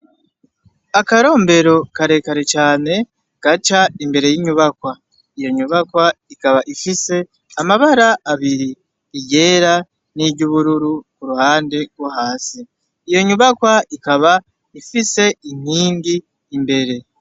Akorombero karekare cane gaca imbere y'inyubakwa, iyo nyubakwa ikaba ifise amabara abiri :iryera niry'ubururu k'uruhande rwo hasi, iyo nyubakwa ikaba ifise inkingi imbere.